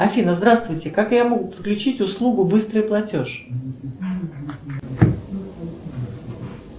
афина здравствуйте как я могу подключить услугу быстрый платеж